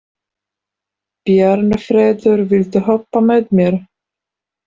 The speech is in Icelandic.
Bjarnfreður, viltu hoppa með mér?